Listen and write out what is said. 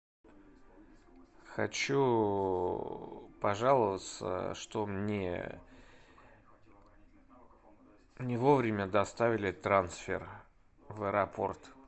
хочу пожаловаться что мне не вовремя доставили трансфер в аэропорт